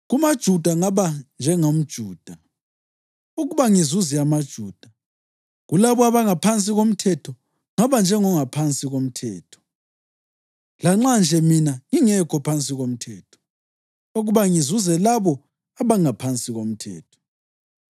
KumaJuda ngaba njengomJuda, ukuba ngizuze amaJuda. Kulabo abangaphansi komthetho ngaba njengongaphansi komthetho (lanxa nje mina ngingekho ngaphansi komthetho), ukuba ngizuze labo abangaphansi komthetho.